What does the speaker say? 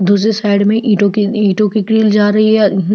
दूसरे साइड में ईटों की ईटों की ग्रिल जा रही है।